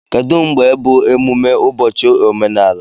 Kedụ mgbe bụ emume ụbọchị omenala?